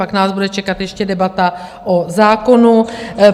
Pak nás bude čekat ještě debata o zákonu.